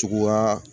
Tuguya